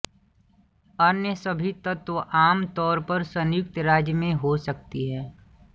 अन्य सभी तत्व आम तौर पर संयुक्त राज्य में हो सकती